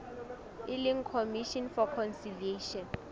e leng commission for conciliation